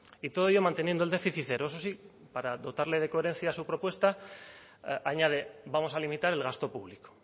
y todo ello manteniendo el déficit cero eso sí para dotarle de coherencia a su propuesta añade vamos a limitar el gasto público